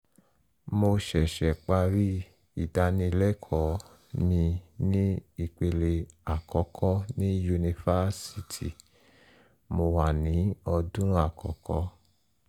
mo ṣẹ̀ṣẹ̀ parí ìdánilẹ́kọ̀ọ́ mi ti ipele àkọ́kọ́ ní yunifásítì (mo wà ní ọdún àkọ́kọ́)